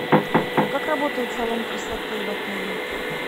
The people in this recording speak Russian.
а как работает салон красоты в отеле